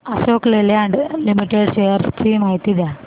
Ashok Leyland limited shares ची माहिती द्या